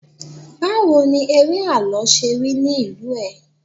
bawo ni ere àlọ se rí nì ìlú ẹ